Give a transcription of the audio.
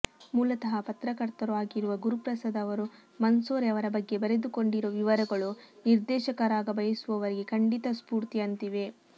ಮೂಲತಃ ಪತ್ರಕರ್ತರೂ ಆಗಿರುವ ಗುರುಪ್ರಸಾದ್ ಅವರು ಮಂಸೋರೆ ಅವರ ಬಗ್ಗೆ ಬರೆದುಕೊಂಡಿರೋ ವಿವರಗಳು ನಿರ್ದೇಶಕರಾಗ ಬಯಸುವವರಿಗೆ ಖಂಡಿತಾ ಸ್ಫೂರ್ತಿಯಂತಿವೆ